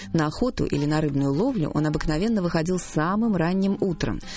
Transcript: на охоту или на рыбную ловлю он обыкновенно выходил самым ранним утром